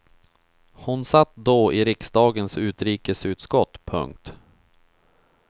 Hon satt då i riksdagens utrikesutskott. punkt